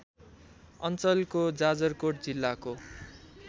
अञ्चलको जाजरकोट जिल्लाको